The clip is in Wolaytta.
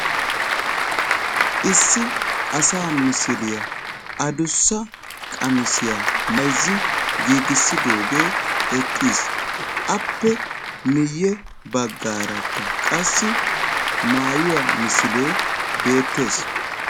Issi asaa misiliyaa adussa maayuwa qamisiya mayzzi essidoogee eqqis. appw miye bagaarakka qassi maayuwa misilee beettees.